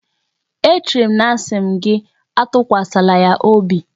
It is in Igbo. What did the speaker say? E chere m na m asi gi atukwasala ya obi?